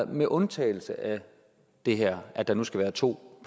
med undtagelse af det her at der nu skal være to